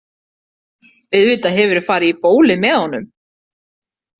Auðvitað hefurðu farið í bólið með honum.